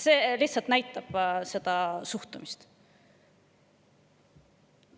See näitab suhtumist.